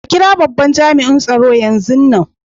A kira babban jami'in tsaro yanzun nan.